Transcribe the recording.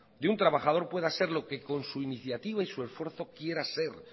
de un trabajador pueda ser lo que con su iniciativa y su esfuerzo quiera ser